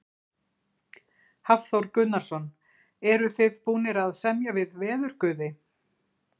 Hafþór Gunnarsson: Eruð þið búnir að semja við veðurguði?